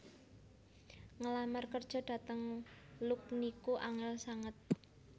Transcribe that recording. Ngelamar kerjo dhateng Look niku angel sanget